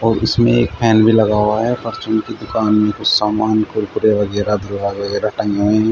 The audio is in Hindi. इसमें एक फैन भी लगा हुआ है की दुकान में कुछ समान कुरकुरे वगैरा वगैरा टंगे हुए हैं।